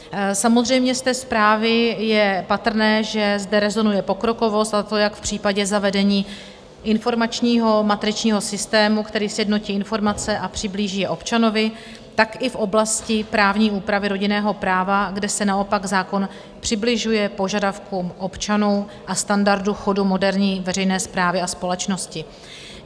Samozřejmě z té zprávy je patrné, že zde rezonuje pokrokovost, a to jak v případě zavedení informačního matričního systému, který sjednotí informace a přiblíží je občanovi, tak i v oblasti právní úpravy rodinného práva, kde se naopak zákon přibližuje požadavkům občanů a standardu chodu moderní veřejné správy a společnosti.